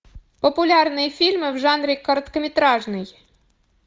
популярные фильмы в жанре короткометражный